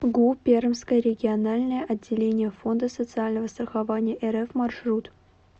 гу пермское региональное отделение фонда социального страхования рф маршрут